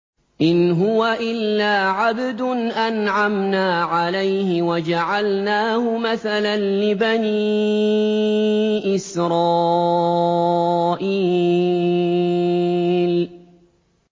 إِنْ هُوَ إِلَّا عَبْدٌ أَنْعَمْنَا عَلَيْهِ وَجَعَلْنَاهُ مَثَلًا لِّبَنِي إِسْرَائِيلَ